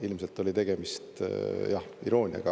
Ilmselt oli tegemist, jah, irooniaga.